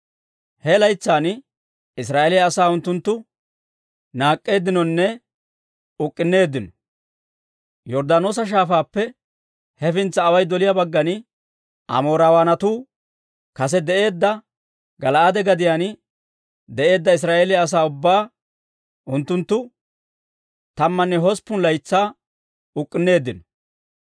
He laytsan Israa'eeliyaa asaa unttunttu naak'k'eeddinonne uk'k'unneeddino. Yorddaanoosa Shaafaappe hefintsa away doliyaa baggan, Amoorawaanatu kase de'eedda Gala'aade gadiyaan de'eedda Israa'eeliyaa asaa ubbaa unttunttu tammanne hosppun laytsaa uk'k'unneeddino.